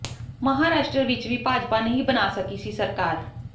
ਮਹਾਰਾਸ਼ਟਰ ਵਿਚ ਵੀ ਭਾਜਪਾ ਨਹੀਂ ਬਣਾ ਸਕੀ ਸੀ ਸਰਕਾਰ